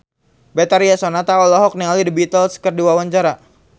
Betharia Sonata olohok ningali The Beatles keur diwawancara